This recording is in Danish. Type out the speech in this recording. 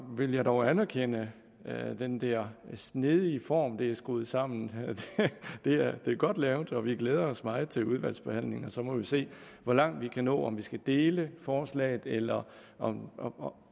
vil jeg dog anerkende den der snedige form det er skruet sammen på det er godt lavet og vi glæder os meget til udvalgsbehandlingen og så må vi se hvor langt vi kan nå om vi skal dele forslaget eller om